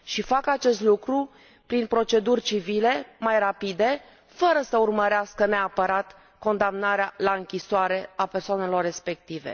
Și fac acest lucru prin proceduri civile, mai rapide, fără să urmărească neapărat condamnarea la închisoare a persoanelor respective.